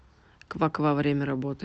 ква ква время работы